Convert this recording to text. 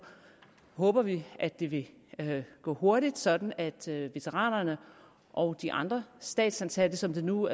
håber vi at det det vil gå hurtigt sådan at veteranerne og de andre statsansatte som det nu